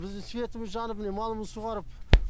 біздің светіміз жанып міне малымыз суарып